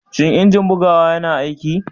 Shin injin bugawa yana aiki?